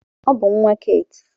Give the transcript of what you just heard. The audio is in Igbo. Ọ bụ nwa Keeti.